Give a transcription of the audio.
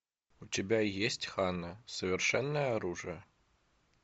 у тебя есть ханна совершенное оружие